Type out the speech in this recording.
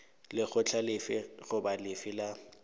lekgotla lefe goba lefe la